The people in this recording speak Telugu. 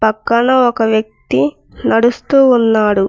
పక్కన ఒక వ్యక్తి నడుస్తూ ఉన్నాడు.